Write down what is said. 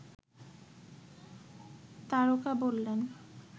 তারকা বললেন